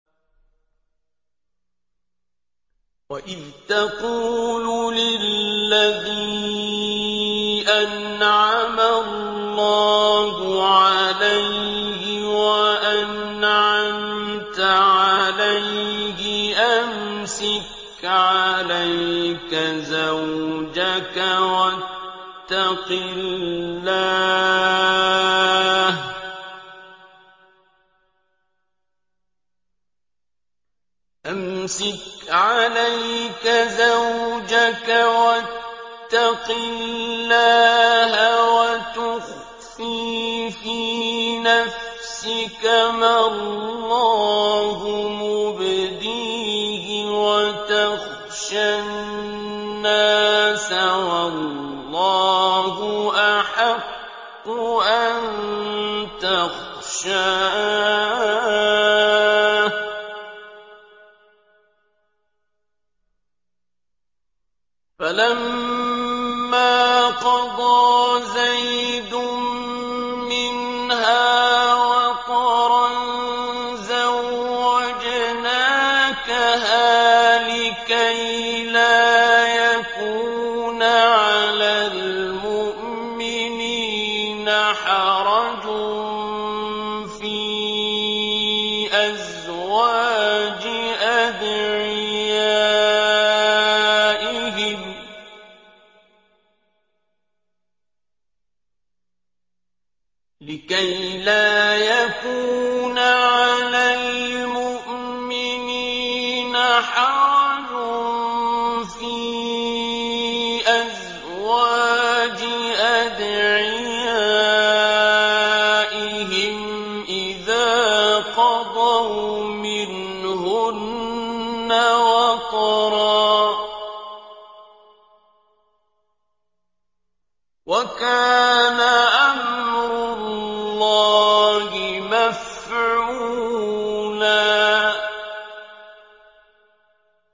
وَإِذْ تَقُولُ لِلَّذِي أَنْعَمَ اللَّهُ عَلَيْهِ وَأَنْعَمْتَ عَلَيْهِ أَمْسِكْ عَلَيْكَ زَوْجَكَ وَاتَّقِ اللَّهَ وَتُخْفِي فِي نَفْسِكَ مَا اللَّهُ مُبْدِيهِ وَتَخْشَى النَّاسَ وَاللَّهُ أَحَقُّ أَن تَخْشَاهُ ۖ فَلَمَّا قَضَىٰ زَيْدٌ مِّنْهَا وَطَرًا زَوَّجْنَاكَهَا لِكَيْ لَا يَكُونَ عَلَى الْمُؤْمِنِينَ حَرَجٌ فِي أَزْوَاجِ أَدْعِيَائِهِمْ إِذَا قَضَوْا مِنْهُنَّ وَطَرًا ۚ وَكَانَ أَمْرُ اللَّهِ مَفْعُولًا